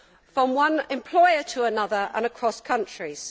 from one employer to another, and across countries.